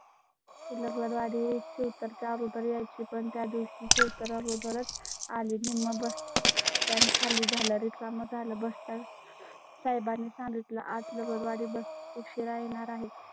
तुला पूर वाडी शेवटचा पर्याय ची पण त्या दिवशी सूत्रा वगैरे आली नि. मग त्याच्या खाली झाला रिकामा झाला. बस्तर साहेबांनी सांगितलं. आता बुधवारी bus उशीरा येणार आहे